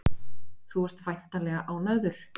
Þú ert væntanlega ánægður?